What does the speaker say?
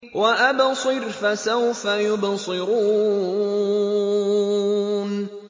وَأَبْصِرْ فَسَوْفَ يُبْصِرُونَ